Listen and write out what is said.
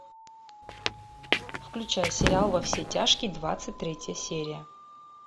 включай сериал во все тяжкие двадцать третья серия